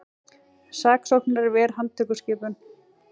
Saksóknari ver handtökuskipun